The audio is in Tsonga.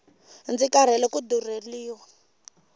ndzi karhele ku durheliwa